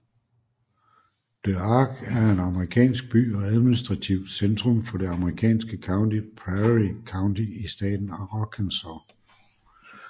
Des Arc er en amerikansk by og administrativt centrum for det amerikanske county Prairie County i staten Arkansas